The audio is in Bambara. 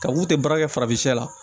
Ka mun tɛ baara kɛ farafin la